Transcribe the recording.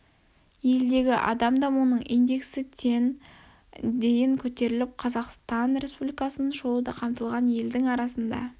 елдегі адам дамуының индексі тен дейін көтеріліп қазақстан республикасын шолуда қамтылған елдің арасында